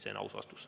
See on aus vastus.